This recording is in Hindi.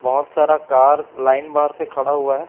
बहुत सारा कार लाइन बार से खड़ा हुआ है।